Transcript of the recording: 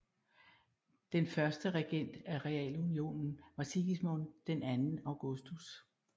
Den første regent af realunionen var Sigismund II Augustus